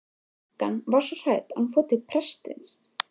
Frænkan var svo hrædd að hún fór til prestsins.